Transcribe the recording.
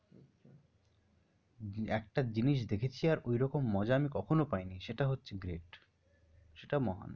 একটা জিনিস দেখেছি আর ঐ রকম মজা আমি কখনো পাইনি সেটা হচ্ছে great সেটা মহান।